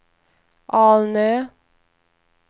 Alnö